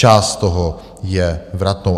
Část toho je vratnou.